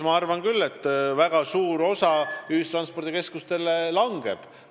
Ma arvan küll, et ühistranspordikeskustele langeb väga suur osa.